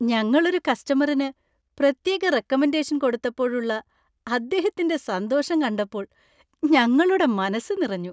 ഞങ്ങളൊരു കസ്റ്റമറിന് പ്രത്യേക റെക്കമെൻ്റേഷൻ കൊടുത്തപ്പോഴുള്ള അദ്ദേഹത്തിൻ്റെ സന്തോഷം കണ്ടപ്പോൾ ഞങ്ങളുടെ മനസ്സ് നിറഞ്ഞു.